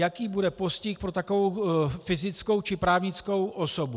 Jaký bude postih pro takovou fyzickou či právnickou osobu?